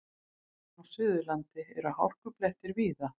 Á Suðurlandi eru hálkublettir víða